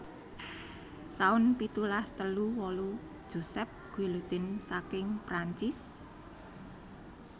taun pitulas telu wolu Joseph Guillotin saking Prancis